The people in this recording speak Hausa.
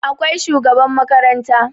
akwai shugaba makaranta